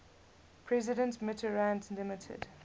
president mitterrand limited